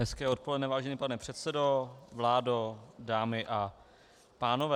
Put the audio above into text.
Hezké odpoledne, vážený pane předsedo, vládo, dámy a pánové.